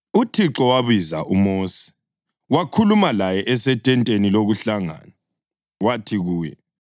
UThixo wabiza uMosi, wakhuluma laye esethenteni lokuhlangana. Wathi kuye,